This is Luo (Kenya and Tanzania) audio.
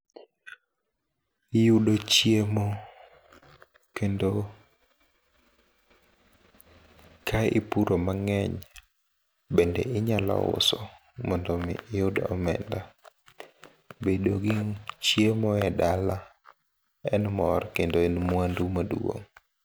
Iyudo chiemo, kendo kaipuro mang'eny bende inyalo uso mondomi iyud omenda. Bedogi chiemo e dala en mor kendo en mwandu maduong'.